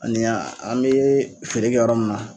Ani a an bee feere kɛ yɔrɔ min na